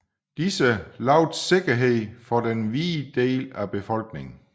Disse lovede sikkerhed for den hvide del af befolkningen